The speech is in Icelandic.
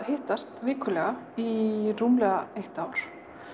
hittast vikulega í rúmlega eitt ár